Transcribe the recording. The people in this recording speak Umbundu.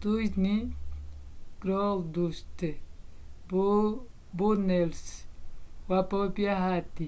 dustin goldust” runnels wapopya hati